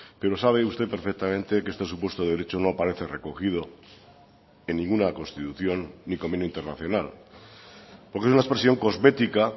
pero sabe usted perfectamente que este supuesto de derecho no aparece recogido en ninguna constitución ni convenio internacional porque es una expresión cosmética